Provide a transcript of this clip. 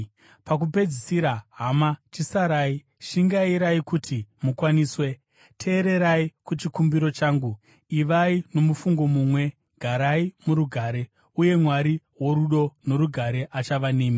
Pakupedzisira, hama, chisarai. Shingairai kuti mukwaniswe, teererai kuchikumbiro changu, ivai nomufungo mumwe, garai murugare. Uye Mwari worudo norugare achava nemi.